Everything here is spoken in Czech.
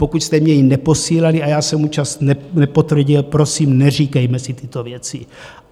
Pokud jste mně ji neposílali a já jsem účast nepotvrdil, prosím, neříkejme si tyto věci.